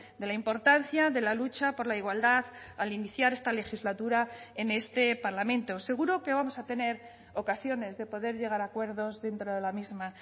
de la importancia de la lucha por la igualdad al iniciar esta legislatura en este parlamento seguro que vamos a tener ocasiones de poder llegar a acuerdos dentro de la misma